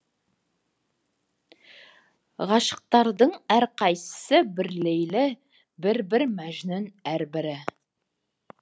ғашықтардың әрқайсысы бір лейлі бір бір мәжнүн әрбірі